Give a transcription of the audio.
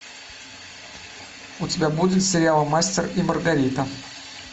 у тебя будет сериал мастер и маргарита